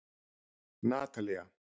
Natalía